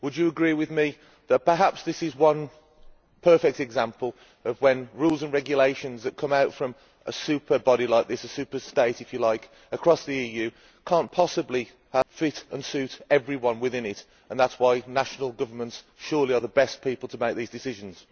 Would you agree with me that perhaps this is one perfect example of when rules and regulations that come out from a superbody like this, a superstate if you like, across the EU, cannot possibly fit and suit everyone within it, and that is why national governments surely are the best people to make these decisions.